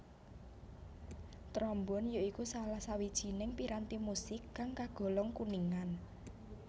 Trombon ya iku salah sawijining piranti musik kang kagolong kuningan